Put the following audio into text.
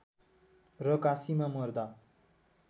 र काशीमा मर्दा